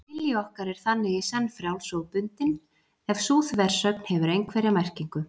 Vilji okkar er þannig í senn frjáls og bundinn, ef sú þversögn hefur einhverja merkingu.